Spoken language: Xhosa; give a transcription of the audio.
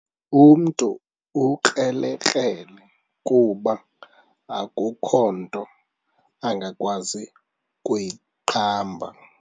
Umntu ukrelekrele kuba akukho nto angakwazi kuyiqamba.